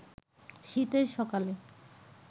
শীতের সকালে